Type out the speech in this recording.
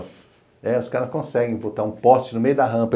É, os caras conseguem botar um poste no meio da rampa.